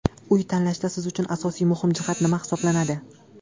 Uy tanlashda siz uchun asosiy muhim jihat nima hisoblanadi?